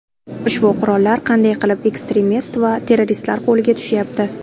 Ushbu qurollar qanday qilib ekstremist va terroristlar qo‘liga tushayapti?